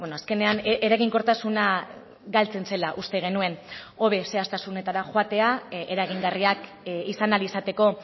azkenean eraginkortasuna galtzen zela uste genuen hobe zehaztasunetara joatea eragingarriak izan ahal izateko